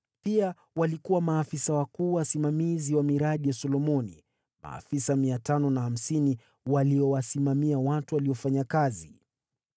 Pia walikuwa maafisa wakuu wasimamizi wa miradi ya Solomoni: maafisa 550 waliwasimamia watu waliofanya kazi.